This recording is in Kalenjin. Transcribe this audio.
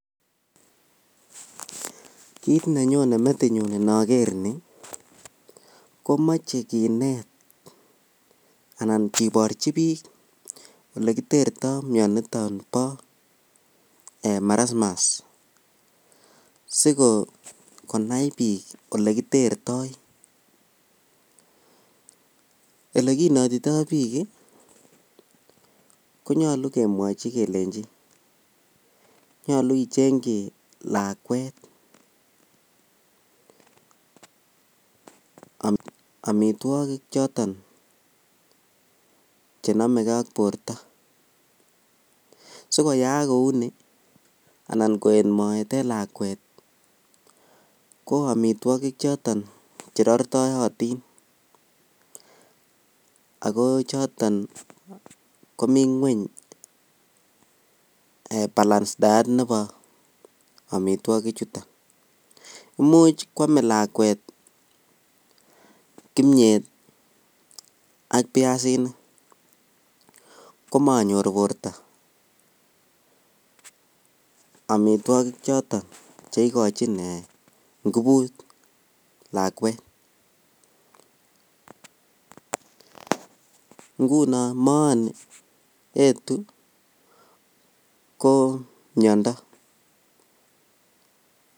Kiit nenyone metinyun inoker nii komoche kineet anan kiborchi biik mioniton bo marasmus sikonai biik olekitertoi, elekinetitoi biik konyolu kemwochi kelenchi nyolu ichengyi lakwet amitwokik choton chenomekee ak borto, sikoyaak kouni anan koet moet en lakwat ko amitwokik choton cherortoyotin ak ko choton komii ngweny balance diet nebo omitwokichuton imuch kwome lakwet kimnyet ak biasinik, komonyor borto amitwokik choton cheikochin ngubut lakwet, ng'unon mooni yetuu ko miondo.